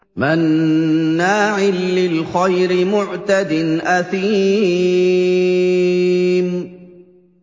مَّنَّاعٍ لِّلْخَيْرِ مُعْتَدٍ أَثِيمٍ